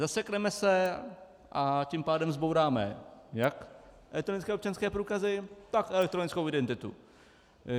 Zasekneme se, a tím pádem zbouráme jak elektronické občanské průkazy, tak elektronickou identitu.